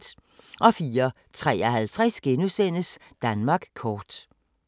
04:53: Danmark kort *